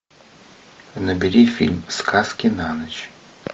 набери фильм сказки на ночь